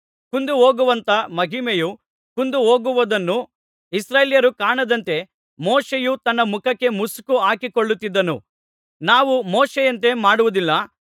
ಕುಂದಿಹೋಗುವಂಥ ಮಹಿಮೆಯು ಕುಂದಿಹೋಗುವುದನ್ನು ಇಸ್ರಾಯೇಲರು ಕಾಣದಂತೆ ಮೋಶೆಯು ತನ್ನ ಮುಖಕ್ಕೆ ಮುಸುಕು ಹಾಕಿಕೊಳ್ಳುತ್ತಿದ್ದನು ನಾವು ಮೋಶೆಯಂತೆ ಮಾಡುವುದಿಲ್ಲ